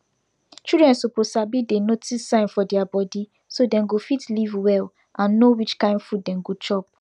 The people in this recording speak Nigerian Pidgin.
childrien suppose sabi dey notice sign for deir body so dem go fit live well and no which kin food dem go chop